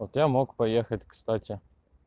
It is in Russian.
вот я мог поехать кстати